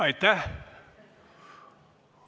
Aitäh!